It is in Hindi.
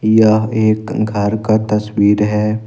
यह एक घर का तस्वीर है।